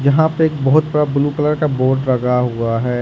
यहां पे एक बहोत बड़ा ब्लू कलर का बोर्ड लगा हुआ है।